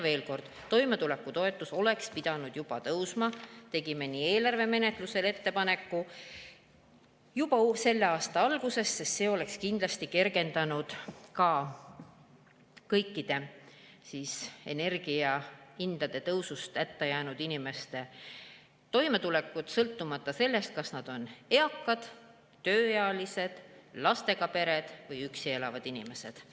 Veel kord: toimetulekutoetus oleks pidanud juba tõusma – tegime ka eelarve menetlusel sellekohase ettepaneku – juba selle aasta alguses, sest see oleks kindlasti kergendanud ka kõikide energiahindade tõusu tõttu hätta jäänud inimeste toimetulekut, sõltumata sellest, kas nad on eakad, tööealised, lastega pered või üksi elavad inimesed.